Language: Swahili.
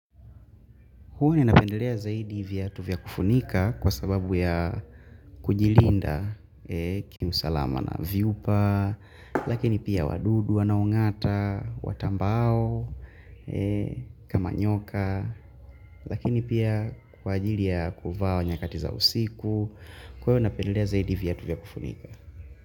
Huwa ninapendelea zaidi viatu vya kufunika kwa sababu ya kujilinda kiusalama na viupa, lakini pia wadudu wanaong'ata, watambaao, kama nyoka, lakini pia kwa ajili ya kuvaq nyakati za usiku, kwa hivyo ninapendelea zaidi viatu vya kufunika.